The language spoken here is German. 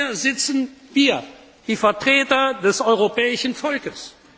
Hier sitzen wir, die Vertreter des europäischen Volkes.